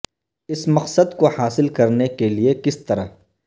اس مقصد کو حاصل کرنے کے لئے کس طرح